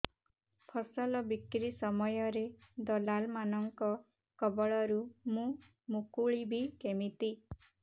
ଫସଲ ବିକ୍ରୀ ସମୟରେ ଦଲାଲ୍ ମାନଙ୍କ କବଳରୁ ମୁଁ ମୁକୁଳିଵି କେମିତି